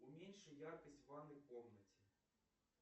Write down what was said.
уменьши яркость в ванной комнате